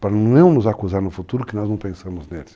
para não nos acusar no futuro que nós não pensamos neles.